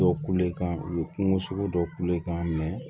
Dɔw kulo kan u be kungo sogo dɔ kule i kan